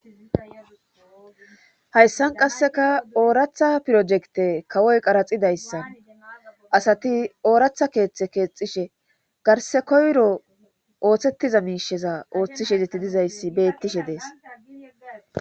hayssan qasseka ooratha pirojekte kawoy qaraxidayssan asati ooratha keeththe keexishe garse koyro ooththettiza miisheza ooththishedeti dizayssi beettishe dees